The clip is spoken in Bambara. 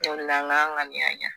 o de la an k'an ŋaniya ɲɛ